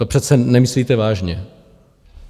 To přece nemyslíte vážně.